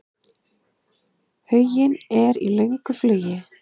Huginn er í löngu flugi.